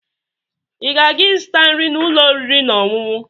Ị na-aga ịzụta nri n'ụlọ oriri na ọṅụṅụ?